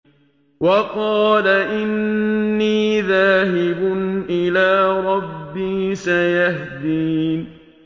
وَقَالَ إِنِّي ذَاهِبٌ إِلَىٰ رَبِّي سَيَهْدِينِ